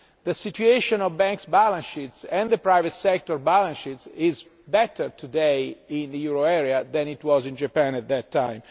The situation of banks' balance sheets and the private sector balance sheets is better today in the euro area than it was in Japan at that time.